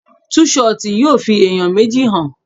Tú ṣọtì yóò fi ẹ̀yàn méjì hàn.